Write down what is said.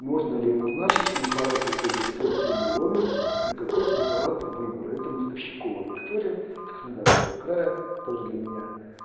можно ли назначить препараты згт при миоме и какой препарат выбора это мостовщикова виктория краснодарского края тоже для меня